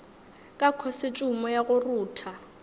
ka khosetšhumo ya go rutha